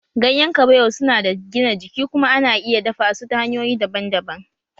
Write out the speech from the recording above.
Ganyen kabewa su na da gina jiki kuma ana iya dafa su ta hanyoyi daban-daban